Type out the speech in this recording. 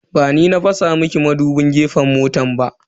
Ba ni na fasa miki madubin gefen mota ba.